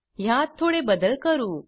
ह्यात थोडे बदल करू